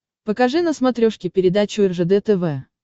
покажи на смотрешке передачу ржд тв